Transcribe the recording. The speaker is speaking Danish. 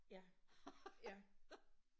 Ja. Ja